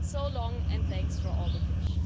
So long, and thanks for all the fish.